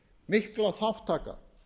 þessi mikla þátttaka